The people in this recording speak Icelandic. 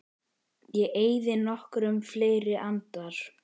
Ég eyði nokkrum fleiri andar